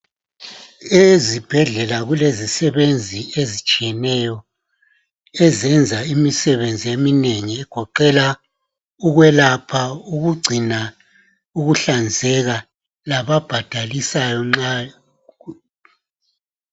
Ezibhedlela kulezisebenzi ezitshiyeneyo ezenza imisebenzi eminengi egoqela ukwelapha ukugcina ukuhlanzeka lababhadalisayo nxa